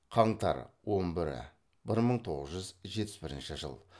қаңтар он бірі бір мың тоғыз жүз жетпіс бірінші жыл